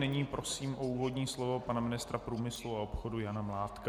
Nyní prosím o úvodní slovo pana ministra průmyslu a obchodu Jana Mládka.